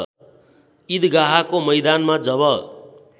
ईदगाहको मैदानमा जब